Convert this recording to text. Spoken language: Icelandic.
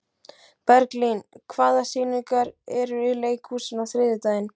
Berglín, hvaða sýningar eru í leikhúsinu á þriðjudaginn?